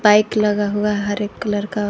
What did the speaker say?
Bike लगा हुआ है हर एक कलर का।